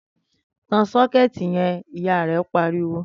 Tan sókéètì yen!', Ìyá rè pariwo